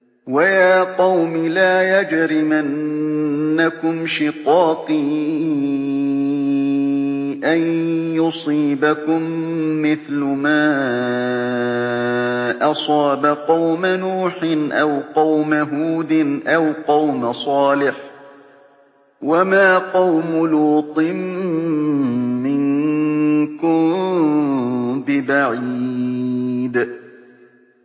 وَيَا قَوْمِ لَا يَجْرِمَنَّكُمْ شِقَاقِي أَن يُصِيبَكُم مِّثْلُ مَا أَصَابَ قَوْمَ نُوحٍ أَوْ قَوْمَ هُودٍ أَوْ قَوْمَ صَالِحٍ ۚ وَمَا قَوْمُ لُوطٍ مِّنكُم بِبَعِيدٍ